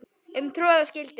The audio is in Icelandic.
um troða skyldi